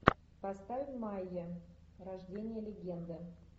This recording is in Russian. поставь майя рождение легенды